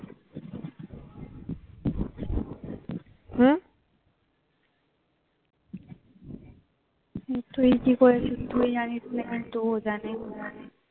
তুই কি করেছিস তুই জানিস ও জানে